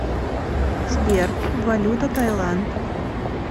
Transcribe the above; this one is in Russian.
сбер валюта таиланд